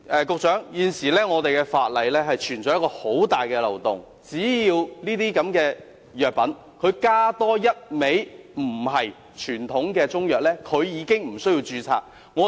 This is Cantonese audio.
局長，現有法例存在一個很大的漏洞，只要這些藥品加入多一種非傳統中藥，已經不需要註冊。